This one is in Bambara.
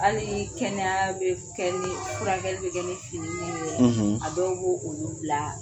Hali kɛnɛya bɛ kɛ furakɛli bɛ kɛ ni fini min ye; a dɔw b' olu bila